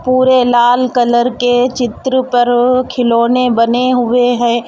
पूरे लाल कलर के चित्र पर खिलौने बने हुए हैं.